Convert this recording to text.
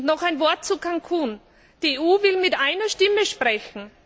Noch ein Wort zu Cancún Die EU will mit einer Stimme sprechen.